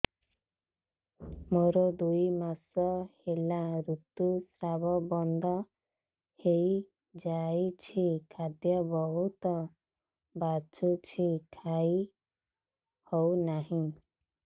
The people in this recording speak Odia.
ମୋର ଦୁଇ ମାସ ହେଲା ଋତୁ ସ୍ରାବ ବନ୍ଦ ହେଇଯାଇଛି ଖାଦ୍ୟ ବହୁତ ବାସୁଛି ଖାଇ ହଉ ନାହିଁ